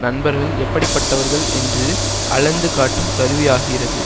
நண்பர்கள் எப்படிப்பட்டவர்கள் என்று அளந்து காட்டும் கருவியாகிறது